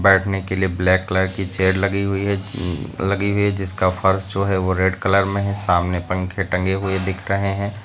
बैठने के लिए ब्लैक कलर की चेयर लगी हुई है उम लगी हुई है जिसका फर्श जो है वो रेड कलर में है सामने पंखे टंगे हुए दिख रहे हैं।